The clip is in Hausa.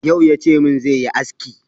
Yau ya ce min zai yi aski.